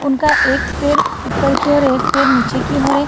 उनका एक पैर ऊपर की ओर एक पैर नीचे की ओर है।